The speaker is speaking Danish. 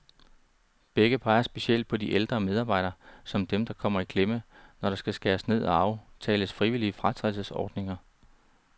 Begge peger specielt på de ældre medarbejdere, som dem, der kommer i klemme, når der skal skæres ned og aftales frivillige fratrædelsesordninger.